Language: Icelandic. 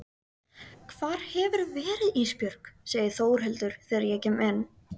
Hvar hefurðu verið Ísbjörg, segir Þórhildur þegar ég kem inn.